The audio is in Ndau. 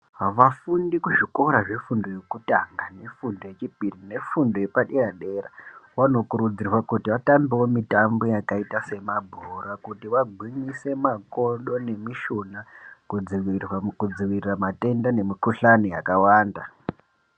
Vafundi kuzvikora zvefundo yekutanga, nefundo yechipiri, nefundo yepadera dera, vanokurudzirwa kuti vatambewo mitambo yakayita semabhora, kuti vagwinyise makodo nemishona, kudzivirira matenda nemikhuhlane yakawanda.